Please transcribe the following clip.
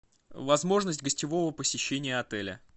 возможность гостевого посещения отеля